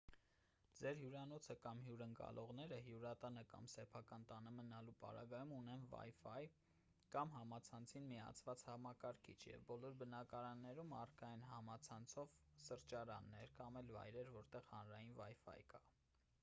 ձեր հյուրանոցը կամ հյուրընկալողները հյուրատանը կամ սեփական տանը մնալու պարագայում ունեն wifi կամ համացանցին միացված համակարգիչ և բոլոր բնակավայրերում առկա են համացանցով սրճարաններ կամ էլ վայրեր որտեղ հանրային wifi կա: